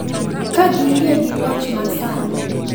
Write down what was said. Ka giyie gi loch ma sani.